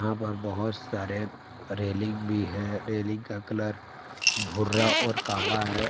यहां पर बहोत सारे रेलिंग भी है रेलिंग का कलर भूरा और काला है।